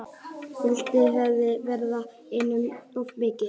Vítaspyrnudómur hefði verið einum of mikið.